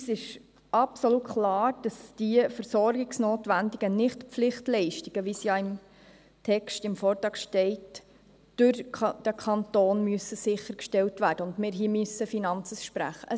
Uns ist absolut klar, dass die versorgungsnotwendigen Nicht-Pflichtleistungen, wie sie im Text stehen, durch den Kanton sichergestellt werden müssen und dass wir diese Finanzen sprechen müssen.